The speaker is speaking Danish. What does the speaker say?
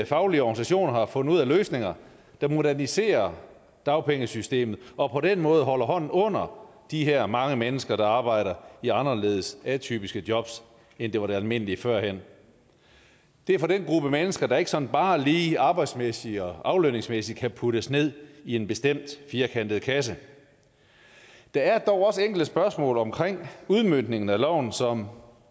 faglige organisationer har fundet ud af løsninger der moderniserer dagpengesystemet og på den måde holder hånden under de her mange mennesker der arbejder i anderledes atypiske jobs end det var det almindelige førhen det er for den gruppe mennesker der ikke sådan bare lige arbejdsmæssigt og aflønningsmæssigt kan puttes ned i en bestemt firkantet kasse der er dog også enkelte spørgsmål omkring udmøntningen af loven som